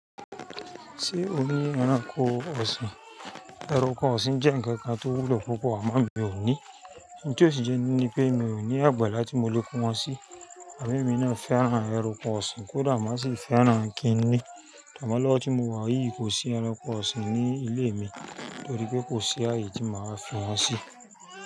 Ṣé o ní ẹranko ọ̀sìn? Ẹranko ọ̀sìn jẹ́ ǹkan kan tó wúlò púpọ̀ àmọ́ mi ò ní. Ǹjẹ́ òṣìṣẹ́ ni pé mi ò ní àgbàlá tí mo lè kó wọn sí. Àmọ́ èmi náà fẹ́ran ẹranko ọ̀sìn kódà màá sì fẹ́ran kí n ní. Àmọ́ lọ́wọ́ tí mo wà yìí kò sí ẹranko ọ̀sìn ní ilé mi torí pé kò sí ààyè tí màá fi wọ́n sí.